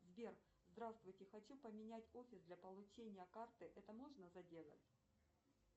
сбер здравствуйте хочу поменять офис для получения карты это можно сделать